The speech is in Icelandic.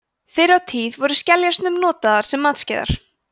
fyrr á tíð voru skeljar stundum notaðar sem matskeiðar